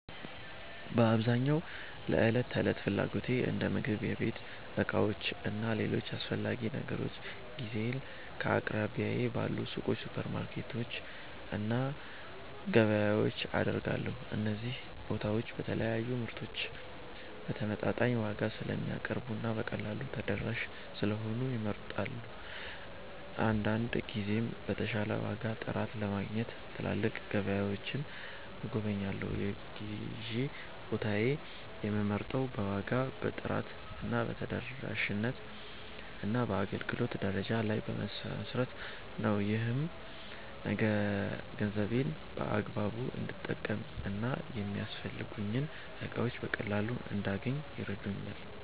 በአብዛኛው ለዕለት ተዕለት ፍላጎቶቼ እንደ ምግብ፣ የቤት ዕቃዎች እና ሌሎች አስፈላጊ ነገሮች ግዢዬን ከአቅራቢያዬ ባሉ ሱቆች፣ ሱፐርማርኬቶች እና ገበያዎች አደርጋለሁ። እነዚህ ቦታዎች የተለያዩ ምርቶችን በተመጣጣኝ ዋጋ ስለሚያቀርቡ እና በቀላሉ ተደራሽ ስለሆኑ ይመረጣሉ። አንዳንድ ጊዜም የተሻለ ዋጋ ወይም ጥራት ለማግኘት ትላልቅ ገበያዎችን እጎበኛለሁ። የግዢ ቦታዬን የምመርጠው በዋጋ፣ በጥራት፣ በተደራሽነት እና በአገልግሎት ደረጃ ላይ በመመስረት ነው። ይህም ገንዘቤን በአግባቡ እንድጠቀም እና የሚያስፈልጉኝን እቃዎች በቀላሉ እንዳገኝ ይረዳኛል።